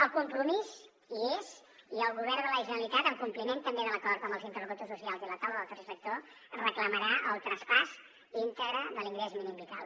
el compromís hi és i el govern de la generalitat en compliment també de l’acord amb els interlocutors socials i la taula del tercer sector reclamarà el traspàs íntegre de l’ingrés mínim vital